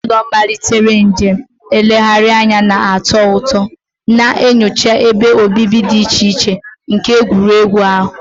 Ezinụlọ malitere njem nlegharị anya na-atọ ụtọ, na-enyocha ebe obibi dị iche iche nke egwuregwu ahụ.